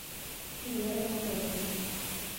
веру анатольевну